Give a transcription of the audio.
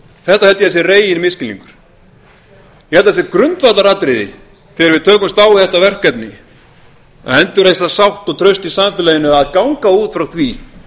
þetta held ég að sé reginmisskilningur ég held að það sé grundvallaratriði þegar við tökumst á við þetta verkefni að endurreisa sátt og traust í samfélaginu að ganga út frá því